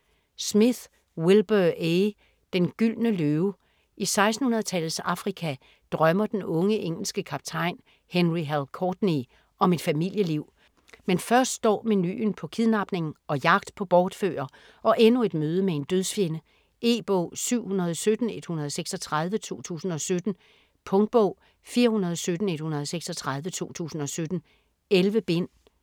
Smith, Wilbur A.: Den gyldne løve I 1600-tallets Afrika drømmer den unge engelske kaptajn Henry "Hal" Courtney om et familieliv. Men først står menuen på kidnapning og jagt på bortfører, og endnu et møde med en dødsfjende. E-bog 717136 2017. Punktbog 417136 2017. 11 bind.